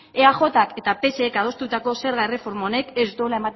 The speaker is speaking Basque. eajk eta psek adostutako zerga erreforma honek ez duela